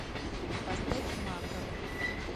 поставь мака